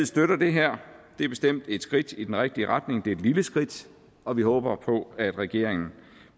støtter det her det er bestemt et skridt i den rigtige retning det er et lille skridt og vi håber på at regeringen